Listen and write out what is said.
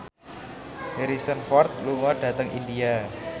Harrison Ford lunga dhateng India